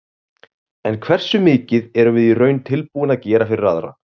En hversu mikið erum við í raun tilbúin að gera fyrir aðra?